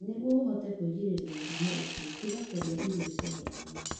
Nĩguo ũhote kwĩgirĩrĩria mũrimũ ũcio, iga kũrĩa irio ciahĩaga mũno.